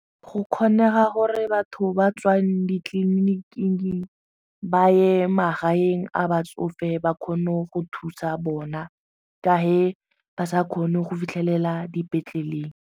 Go kgonega gore batho ba tswang ditleliniking ba ye magaeng a batsofe ba kgone go thusa bona ka ge ba sa kgone go fitlhelela dipetleleng.